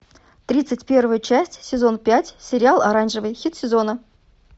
тридцать первая часть сезон пять сериал оранжевый хит сезона